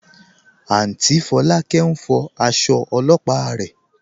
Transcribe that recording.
Áùntý Fọ̀lákẹ̀ n fọ̀ àṣọ̀ ọ̀lọ́pà rẹ.